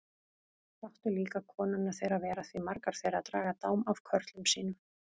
Láttu líka konurnar þeirra vera því margar þeirra draga dám af körlum sínum.